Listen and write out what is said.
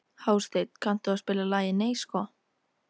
Hásteinn, kanntu að spila lagið „Nei sko“?